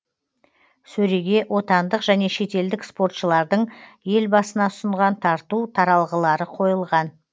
сөреге отандық және шетелдік спортшылардың елбасына ұсынған тарту таралғылары қойылған